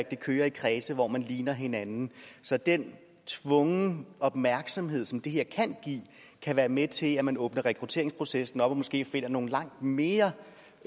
at det kører i kredse hvor man ligner hinanden så den tvungne opmærksomhed som det her kan give kan være med til at man åbner rekrutteringsprocessen op og måske finder nogle langt mere